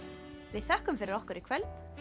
við þökkum fyrir okkur í kvöld